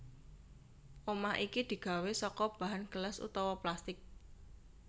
Omah iki digawé saka bahan gelas utawa plastik